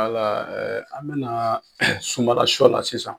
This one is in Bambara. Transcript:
an bɛna sunbala shɔ la sisan.